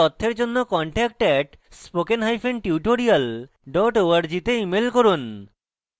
বিস্তারিত তথ্যের জন্য contact @spokentutorial org তে ইমেল করুন